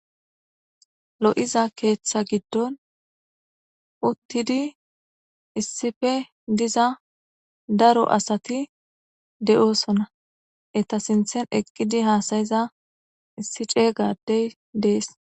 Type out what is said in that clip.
Lo'iza keetha giddon uttidi issife diza daro asati de'osonna eta sinthen eqqidi haasayiza issi cee gadey dees